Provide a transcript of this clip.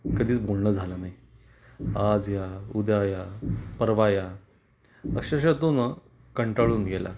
कधीच बोलण झाल नाही. आज या उद्या या परवा या अक्षरशः तो ना कंटाळून गेला